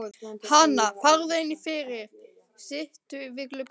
Hana, farðu inn fyrir, sittu við gluggann.